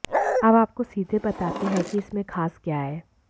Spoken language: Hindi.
अब आपको सीधे बताते हैं कि इसमें खास क्या है